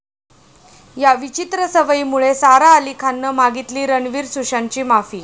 या' विचित्र सवयीमुळे सारा अली खाननं मागितली रणवीर, सुशांतची माफी